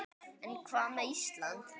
En hvað með Ísland?